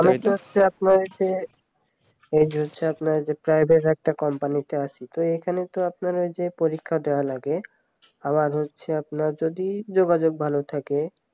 হচ্ছে আপনার যে এই হচ্ছে আপনার যে private একটা কোম্পানি তে আছি তো এখানে তো আপনার ঐযে পরীক্ষা দেওয়া লাগে আবার হচ্ছে আপনার যদি যোগাযোগ ভালো থাকে